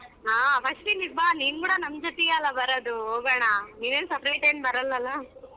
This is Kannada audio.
ಹಾ first ಇಲ್ಲಿಗ ಬಾ ನಿನ್ ಕೂಡ ನಮ್ ಜೂತಿಯಲ್ಲ ಬರೋದು ಹೋಗೊಣ ನೀನೇನ separate ಏನ್ ಬರಲಲ್ಲ.